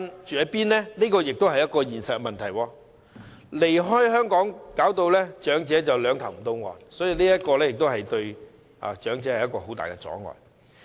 這亦是一個現實問題，離開香港使長者"兩頭唔到岸"，這對長者而言也是一個很大阻礙。